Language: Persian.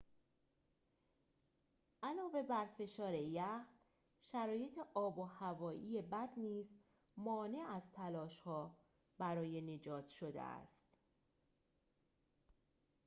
علاوه بر فشار یخ شرایط آب و هوایی بد نیز مانع از تلاش‌ها برای نجات شده است